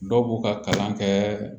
Dɔw b'u ka kalan kɛ